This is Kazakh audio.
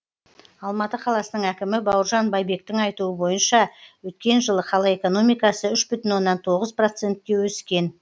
алматы қаласының әкімі бауыржан байбектің айтуы бойынша өткен жылы қала экономикасы үш бүтін оннан тоғыз процентке өскен